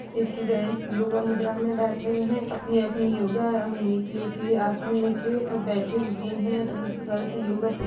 students yoga मुद्रा में बैठे हुए हैं अपने-अपने योगा मेट लेके आसन लेके बैठे हुए हैं अ गर्ल्स योगा पो --